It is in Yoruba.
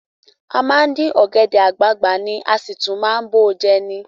A máa ń dín ọ̀gẹ̀dẹ̀ àgbagbà ni, a sì tún máa ń bọ̀ ọ́ jẹ ni